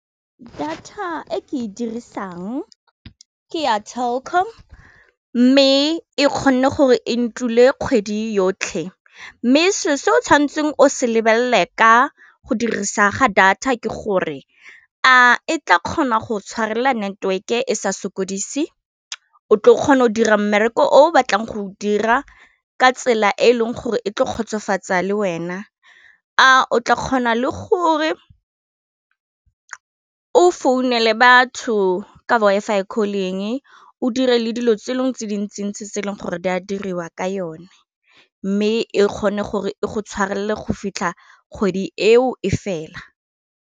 Data e ke e dirisang ke ya Telkom mme e kgonne gore e ntle dule kgwedi yotlhe mme se se o tshwanetseng o se lebelele ka go dirisa ga data ke gore a e tla kgona go tshwarelela network-e e sa sokodise o tle o kgona go dira mmereko o batlang go dira ka tsela e e leng gore e tlo kgotsofatsa le wena a o tla kgona le gore o founela batho ka Wi-Fi calling o dire le dilo tse dingwe tse dintsi ntsi se e leng gore di a diriwa ka yone, mme e kgone gore e go tshwarelele go fitlha kgwedi eo e fela.